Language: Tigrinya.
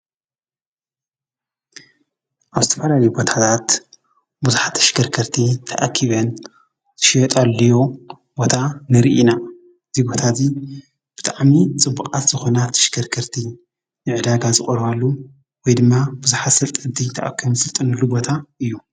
ኣውስተፋዳሊ ቦታህታት ብዙኃ ኣሽከርከርቲ ተኣኪበን ትሽጠልዮ ቦታ ንርኢና ዙይ ቦታ እዙይ ብጥዕሚ ጽቡቓት ዝኾናት ትሽከርከርቲ ንዕዳጋ ዝቑረባሉ ወይ ድማ ብዙሓት ዝስልጥንሉ እድይ ተዕከም ሥልጥንሉ ቦታ እዩ።